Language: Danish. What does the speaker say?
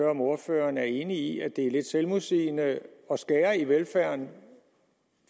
om ordføreren er enig i at det er lidt selvmodsigende at skære i velfærden